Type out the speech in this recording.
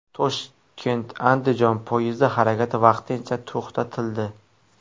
Toshkent Andijon poyezdi harakati vaqtincha to‘xtatildi.